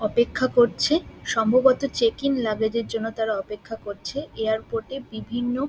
অপেক্ষা করছে সম্ভবত চেকিং লাগেজ এর জন্য তারা অপেক্ষা করছে এয়ারপোর্ট -এ বিভিন্ন--